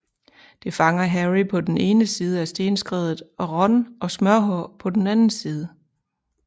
Det fanger Harry på den ene side af stenskredet og Ron og Smørhår på den anden side